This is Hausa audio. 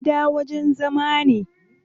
Gida wajen zama ne.